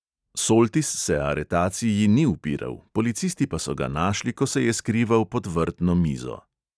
Soltis se aretaciji ni upiral, policisti pa so ga našli, ko se je skrival pod vrtno mizo.